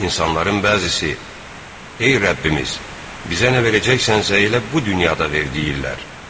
İnsanların bəzisi, "Ey Rəbbimiz, bizə nə verəcəksənsə elə bu dünyada ver" deyirlər.